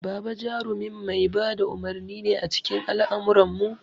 Baba jarumin mai ba da umurni ne a cikin al'ummarmu.